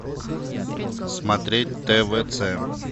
смотреть твц